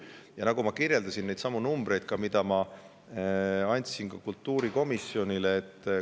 Ja ma mainisin neidsamu numbreid, mida ma andsin kultuurikomisjonile.